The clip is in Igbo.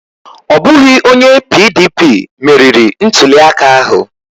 Ọ bụghị onye PDP meriri ntuliaka ahụ.